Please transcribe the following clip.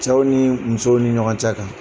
Cɛw ni musow ni ɲɔgɔn cɛ kan